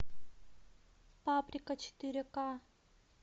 паприка четыре ка